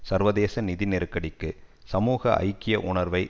சர்வதேச நிதி நெருக்கடிக்கு சமூக ஐக்கிய உணர்வை